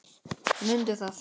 Mundi það.